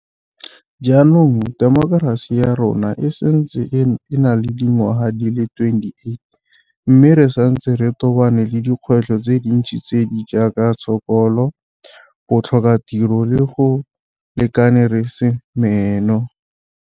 Jaanong temokerasi ya rona e setse e na le dingwaga di le 28, mme re santse re tobane le dikgwetlho tse dintsi tse di jaaka tshokolo, botlhokatiro le go se lekane re se meno.